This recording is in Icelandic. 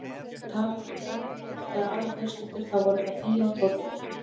Ef talað var um frændfólk eða aðrar fjölskyldur, þá voru það Fía og Tóti.